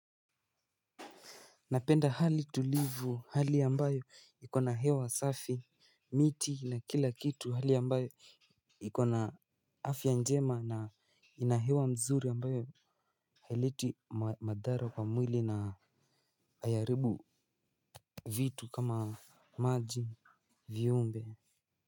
Napenda hali tulivu. Hali ambayo ikona hewa safi. Miti na kila kitu. Hali ambayo ikona afya njema na ina hewa mzuri ambayo haileti madhara kwa mwili na aiairibu vitu kama maji, viumbe.